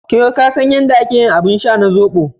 Ko ka san yadda ake yin abin sha na zobo?